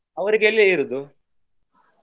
ಅವರೀಗ ಎಲ್ಲಿ ಇರುದು.